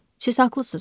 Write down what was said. Siz haqlısınız.